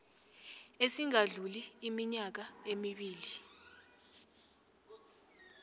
esingadluli iminyaka emibli